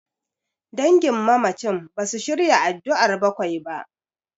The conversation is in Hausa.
Dangin mamacin basu shirya addu'ar bakwai ba.